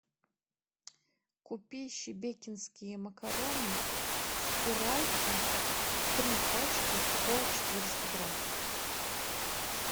купи шебекинские макароны спиральки три пачки по четыреста грамм